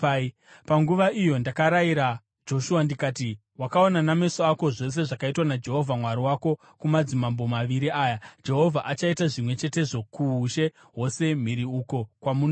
Panguva iyo ndakarayira Joshua, ndikati, “Wakaona nameso ako zvose zvakaitwa naJehovha Mwari wako kumadzimambo maviri aya. Jehovha achaita zvimwe chetezvo kuushe hwose mhiri uko kwamunoenda.